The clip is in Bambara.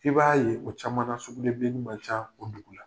I b'a ye o caman sugulen ma ca o dugu la.